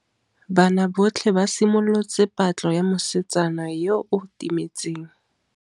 Banna botlhê ba simolotse patlô ya mosetsana yo o timetseng.